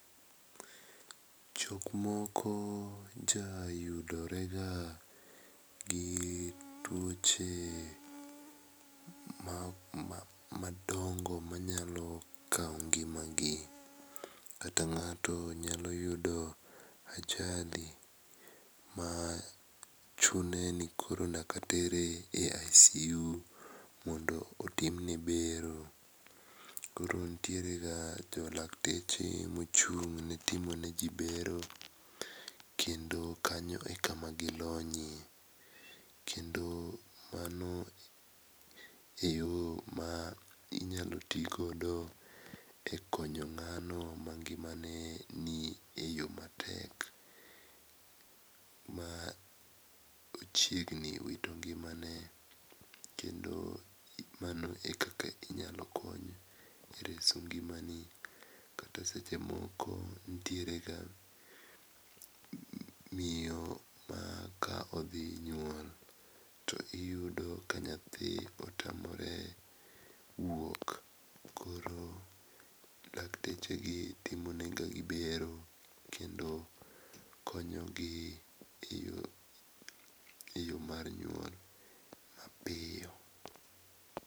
Jok moko ja yudorega gi tuoche madongo manyalo kawo ngimagi kata ng'ato nyalo yudo ajali machuno ni koro nyaka tere e ICU mondo otimne bero. Koro nitierega lakteche mochung' ne timoneji bero kendo kanyo e kama gilonyie kendo mano eyo ma inyalo ti godo ekonyo ng'ano mangimane ni eyo matek ma ochiegni wito ngimane. Kendo mano ekaka ji inyalo konyo e reso ngimani kata seche moko nitiere ga miyo ma ka odhi nyuol to iyudo ka nyathi otamore wuok. Koro laktechegi timonegiga bero kendo konyo gi eyo mar nyuol mapiyo.